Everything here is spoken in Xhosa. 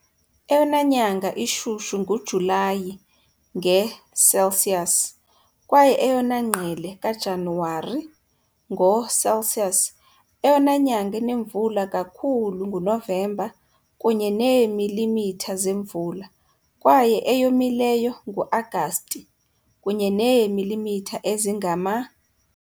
Eyona nyanga ishushu nguJulayi, nge Celsius, kwaye eyona ngqele kaJanuwari, ngo Celsius. Eyona nyanga inemvula kakhulu nguNovemba, kunye neemilimitha zemvula, kwaye eyomileyo nguAgasti, kunye neemilimitha ezingama .